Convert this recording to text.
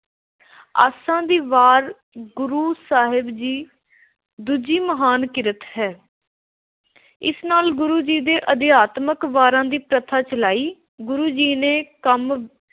ਆਸਾ ਦੀ ਵਾਰ’ ਗੁਰੂ ਸਾਹਿਬ ਦੀ ਦੂਜੀ ਮਹਾਨ ਕਿਰਤ ਹੈ। ਇਸ ਨਾਲ ਗੁਰੂ ਜੀ ਨੇ ਅਧਿਆਤਮਿਕ ਵਾਰਾਂ ਦੀ ਪ੍ਰਥਾ ਚਲਾਈ। ਗੁਰੂ ਜੀ ਨੇ ਕੰਮ